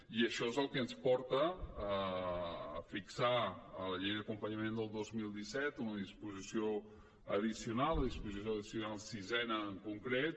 i això és el que ens porta a fixar en la llei d’acompanyament del dos mil disset en una disposició addicional la disposició addicional sisena en concret